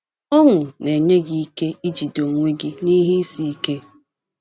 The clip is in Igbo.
Ọṅụ na - enye gị ike ijide onwe gị n’ihe isi ike.